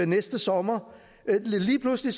næste sommer lige pludselig